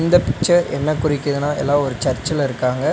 இந்த பிச்சர் என்ன குறிக்கிதுனா எல்லா ஒரு சர்சுல இருக்காங்க.